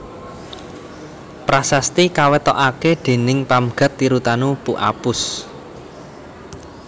Prasasti kawetokaké déning Pamgat Tirutanu Pu Apus